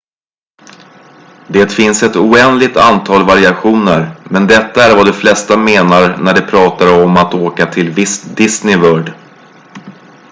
"det finns ett oändligt antal variationer men detta är vad de flesta menar när de pratar om att "åka till disney world"".